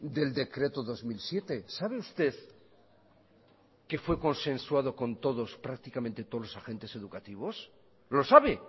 del decreto dos mil siete sabe usted qué fue consensuado con todos prácticamente todos los agentes educativos lo sabe